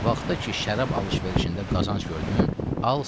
Vaxta ki, şərab alış-verişində qazanc gördün, al sat.